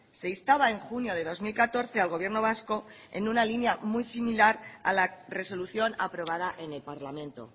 se instaba en junio de dos mil catorce al gobierno vasco en una línea muy similar a la resolución aprobada en el parlamento